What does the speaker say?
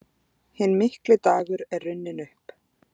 Hinn mikli dagur er runninn upp.